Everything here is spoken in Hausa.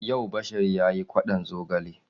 Yau Bashari ya yi kwaɗon zogale.